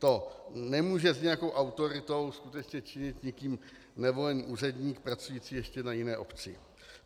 To nemůže s nějakou autoritou skutečně činit nikým nevolený úředník, pracující ještě na jiné obci.